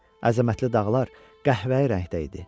Əzəmətli dağlar qəhvəyi rəngdə idi.